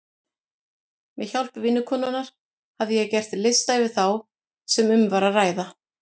Með hjálp vinkonunnar hafði ég gert lista yfir þá sem um var að ræða.